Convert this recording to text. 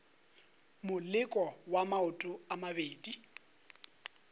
moleko wa maoto a mabedi